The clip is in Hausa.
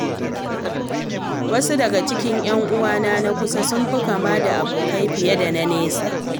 Wasu daga cikin ‘yan'uwana na kusa sun fi kama da abokai fiye da na nesa.